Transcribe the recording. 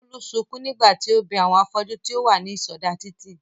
Bólú sukún nígbà tí ó bẹ àwọn afọ́jú tí ó wà ní ìsọdá títì wò